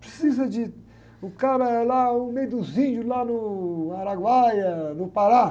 Precisa de... O cara é lá, o meio dos índios, lá no Araguaia, no Pará.